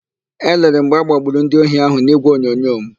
Elere m mgbe agbagburu ndị ohi ahụ n'ígwèonyonyo m.